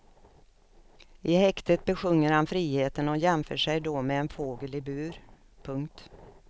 I häktet besjunger han friheten och jämför sig då med en fågel i bur. punkt